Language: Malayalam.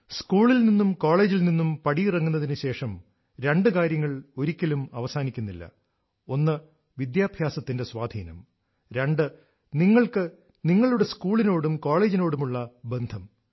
സ്കൂളിൽ നിന്നും കോളേജിൽ നിന്നും പടിയിറങ്ങുന്നതിനു ശേഷം രണ്ടു കാര്യങ്ങൾ ഒരിക്കലും അവസാനിക്കുന്നില്ല ഒന്ന് വിദ്യാഭ്യാസത്തിന്റെ സ്വാധീനം രണ്ട് നിങ്ങൾക്ക് നിങ്ങളുടെ സ്കൂളിനോടും കോളേജിനോടുമുള്ള ബന്ധം